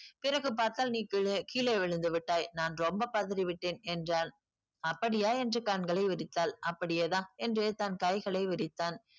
பிறகு பார்த்தால் நீ கீழே கீழே விழுந்துவிட்டாய் நான் ரொம்ப பதறி விட்டேன் என்றான் அப்படியா என்று கண்களை விரித்தாள் அப்படியேதான் என்று தன் கைகளை விரித்தான்